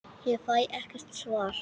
Ég fæ ekkert svar.